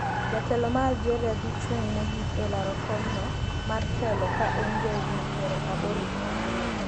Jatelo ma Algeria dhi chung mogik e laro kom no mar telo ka en jahigni piero aboro gi ariyo